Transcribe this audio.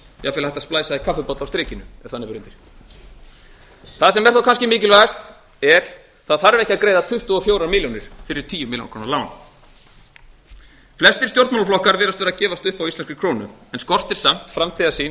jafnvel hægt að splæsa í kaffibolla á strikinu ef þannig ber undir það ber er þó kannski mikilvægast er það þarf ekki að greiða tuttugu og fjórar milljónir fyrir tíu milljónir króna lán flestir stjórnmálaflokkar virðast vera að gefast upp á íslenskri krónu en skortir samt framtíðarsýn